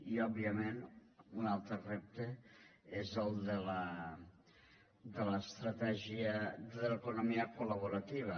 i òbviament un altre repte és el de l’estratègia de l’economia col·laborativa